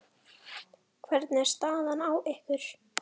Hvernig er staðan á ykkur?